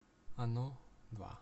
оно два